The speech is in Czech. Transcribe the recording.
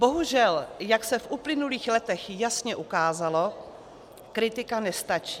Bohužel jak se v uplynulých letech jasně ukázalo, kritika nestačí.